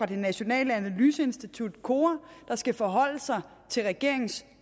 det nationale analyseinstitut kora der skal forholde sig til regeringens